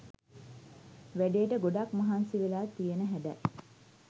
වැඩේට ගොඩක් මහන්සි වෙලා තියන හැඩයි.